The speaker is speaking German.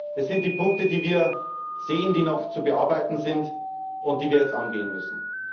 Das sind die Punkte, die wir sehen, die noch zu bearbeiten sind und die wir jetzt angehen müssen.